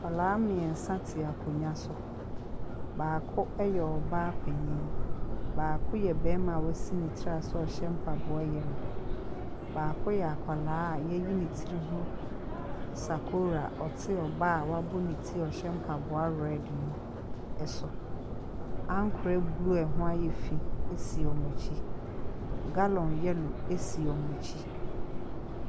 Nkwaraa mmiɛnsa te akonnwa so. Baako ɛyɛ ɔbaa panin. Baako yɛ barima a wasi ne ti ase a ɔhyɛ mpaboa yellow. Baako yɛ akwaraa a yɛayi ne ti ho sakora ɔte ɔbaa a wɔabi ne ti a ɔhyɛ mpaboa red so. Ankorɛ blue a ɛho ayɛ fi si wɔn akyi. Gallon yellow si wɔn akyi.